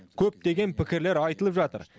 көптеген пікірлер айтылып жатыр